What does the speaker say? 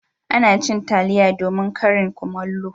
Ana cin taliya domin karin kumallo